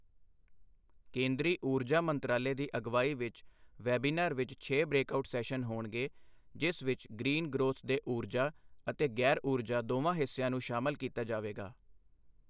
ਕੇਂਦਰੀ ਊਰਜਾ ਮੰਤਰਾਲੇ ਦੀ ਅਗਵਾਈ ਵਿੱਚ ਵੈਬੀਨਾਰ ਵਿੱਚ ਛੇ ਬ੍ਰੇਕਆਉਟ ਸੈਸ਼ਨ ਹੋਣਗੇ ਜਿਸ ਵਿੱਚ ਗ੍ਰੀਨ ਗ੍ਰੋਥ ਦੇ ਊਰਜਾ ਅਤੇ ਗੈਰ ਊਰਜਾ ਦੋਵਾਂ ਹਿੱਸਿਆਂ ਨੂੰ ਸ਼ਾਮਲ ਕੀਤਾ ਜਾਵੇਗਾ।